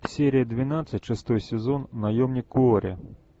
серия двенадцать шестой сезон наемник куорри